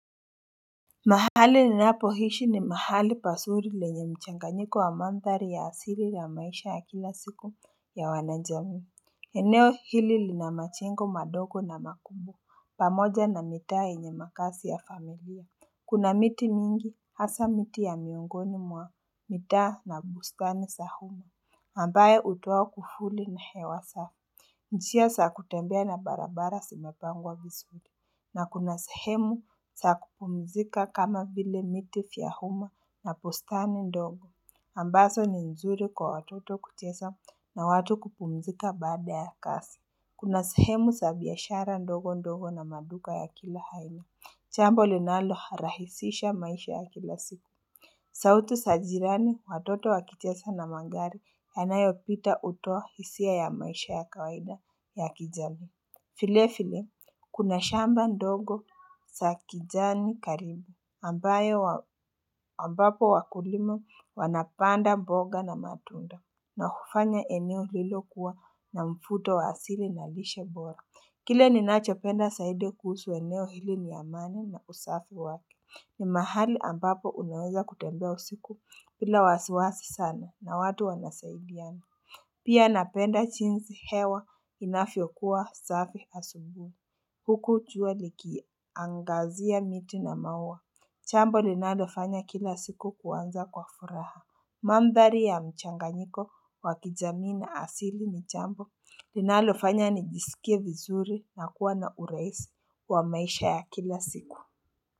Mahali ninapo ishi ni mahali pazuri lenye mchanganyiko wa mandhari ya asili la maisha ya kila siku ya wanajamii eneo hili lina majengo madogo na makumbu pamoja na mitaa yenye makaazi ya familia Kuna miti mingi hasa miti ya miongoni mwa mitaa na bustani zahumu ambaye hutoa kivuli na hewa safu njia za kutembea na barabara zimepangwa vizuri na kuna sehemu za kupumzika kama vile miti vya uma na bustani ndogo, ambazo ni nzuri kwa watoto kucheza na watu kupumzika baada ya kazi. Kuna sehemu za biashara ndogo ndogo na maduka ya kila aina, jambo linalo rahisisha maisha ya kila siku. Sauti za jirani watoto wakicheza na magari yanayo pita hutoa hisia ya maisha ya kawaida ya kijamii vile vile kuna shamba ndogo za kijani karibu ambayo ambapo wakulima wanapanda mboga na matunda na hufanya eneo hilo kuwa na mvuto wa asili na lishe bora. Kile ninachopenda zaidi kuhusu eneo hili ni amani na usafi wake. Ni mahali ambapo unaweza kutembea usiku bila wasiwasi sana na watu wanasaidiani. Pia napenda jinsi hewa inavyokuwa safi asubuhi. Huku jua likiangazia miti na maua. Jambo linalofanya kila siku kuanza kwa furaha. Mandhari ya mchanganyiko wakijamii na asili ni jambo. Linalofanya nijisikie vizuri na kuwa na urahisi wa maisha ya kila siku.